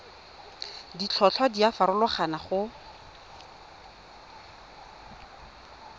ditlhotlhwa di a farologana go